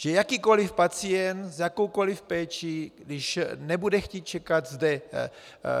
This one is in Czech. Že jakýkoliv pacient s jakoukoliv péčí, když nebude chtít čekat zde